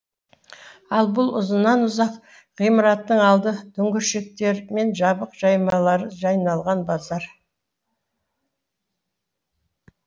ал бұл ұзыннан ұзақ ғимараттың алды дүңгіршіктер мен жабық жаймалары жайнаған базар